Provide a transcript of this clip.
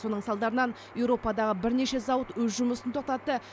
соның салдарынан еуропадағы бірнеше зауыт өз жұмысын тоқтатты